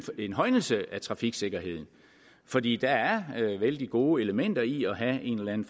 en højnelse af trafiksikkerheden fordi der er vældig gode elementer i at have en